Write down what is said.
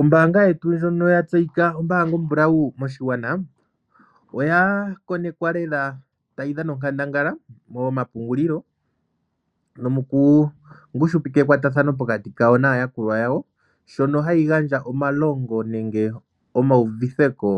Ombaanga yetu ndjono ya tseyika ombaanga ombulau moshigwana oya konekwa lela tayi dhana onkandangala nomomapungulilo nomokungushupika ekwatathano pokati kayo naayakulwa yawo, shono hayi gandja omalongo nenge omauvitheko